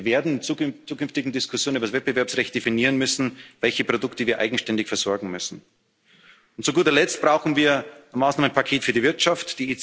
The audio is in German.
Europa nicht. Das heißt, wir werden in zukünftigen Diskussionen über das Wettbewerbsrecht definieren müssen, welche Produkte wir eigenständig versorgen müssen. Und zu guter Letzt brauchen wir ein Maßnahmenpaket für die